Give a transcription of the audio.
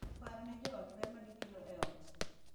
Par ne jo ot ber ma gikelo e ot.